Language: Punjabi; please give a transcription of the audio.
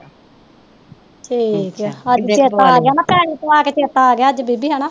ਠੀਕ ਆ ਅੱਜ ਚੇਤਾ ਆਗਿਆ ਨਾ ਪੈਸੇ ਪਵਾ ਕੇ ਚੇਤਾ ਆਗਿਆ ਅੱਜ ਬੀਬੀ ਹੈਨਾ।